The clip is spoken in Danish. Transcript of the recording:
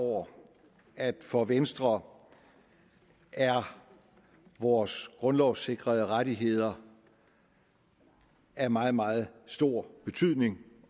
over at for venstre er vores grundlovssikrede rettigheder af meget meget stor betydning